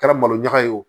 Kɛra malo ɲaga ye wo